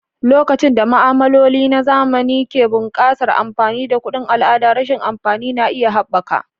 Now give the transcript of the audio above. Lokacin da ma'amaloli na zamani ke buƙatar amfani da kuɗin al'ada, rashin amfani na iya haɓaka.